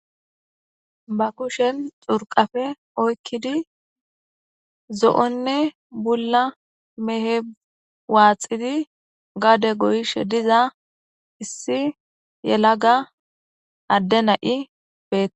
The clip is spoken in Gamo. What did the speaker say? ba kushen xurqafe oykkidi zo7onne bulla mehe waaxidi gaade goyishe diza issi yela ga adde na7i bee